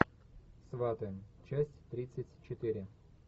сваты часть тридцать четыре